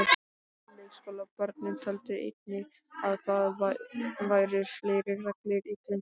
Leikskólabörnin töldu einnig að það væru fleiri reglur í grunnskólanum.